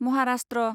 Maharashtra